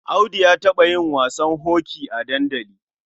Audu ya taɓa yin wasan hoki a dandali.